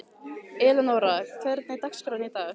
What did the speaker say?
Elenóra, hvernig er dagskráin í dag?